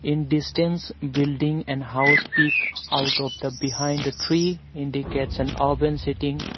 In distance building and house peak out of the behind tree indicates and urban seating.